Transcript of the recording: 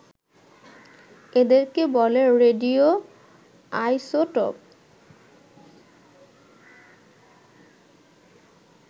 এদেরকে বলে radio isotope